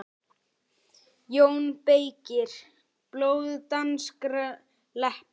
JÓN BEYKIR: Blóð danskra leppa!